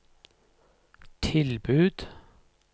tilbud